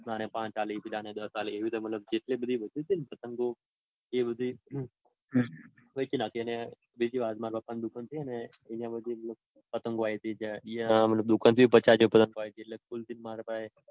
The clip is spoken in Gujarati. આને પાંચ આપી પેલાને દસ આપી એવી જેટલી પણ વધી તી ને પતંગ એ બધી વેચી નાખી. અને બીજી વાત કે મારા પપા ને દુકાન હે ને ત્યાંથી પણ પતંગો આઈ તી એટલે કુલ થઇ ને મારી પાસે